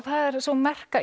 sú merka